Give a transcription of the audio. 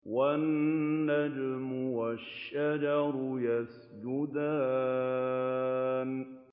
وَالنَّجْمُ وَالشَّجَرُ يَسْجُدَانِ